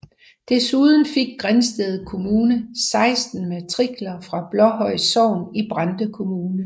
Desuden fik Grindsted Kommune 16 matrikler fra Blåhøj Sogn i Brande Kommune